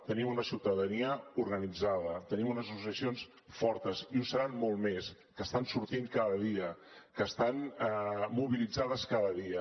tenim una ciutadania organitzada tenim unes associacions fortes i ho seran molt més que estan sortint cada dia que estan mobilitzades cada dia